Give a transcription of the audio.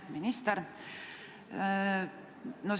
Hea minister!